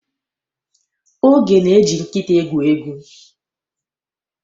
Oge na-eji nkịta egwu egwu.